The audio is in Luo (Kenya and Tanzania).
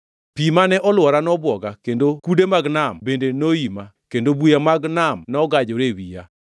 Pi mane olwora nobwoga kendo kude mag nam bende noima kendo buya mag nam nogajore e wiya.